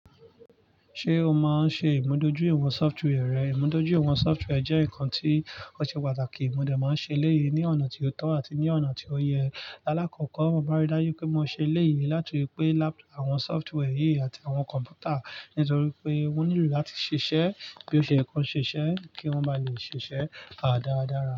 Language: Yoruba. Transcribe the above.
Ṣé o máa ń ṣe ìmúdójúìwọ̀n software rẹ? Ìmúdójúìwọ̀n software jẹ́ nǹkan tí ó ṣe pàtàkì. Mo dẹ̀ máa ń ṣe léyìí ní ọ̀nà tí ó tọ́ àti ní ọ̀nà tí ó yẹ. Láàkọ́kọ́, mo bá rí dájú pé mo ṣe léyìí láti pẹ́ àwọn software yìí àti àwọn kọ̀m̀pútà nítorí pé wọ́n nílò láti ṣiṣẹ́ bí ó ṣe yẹ ko ṣiṣẹ́ kí wọ́n bá lè ṣiṣẹ́ dáadáa dára.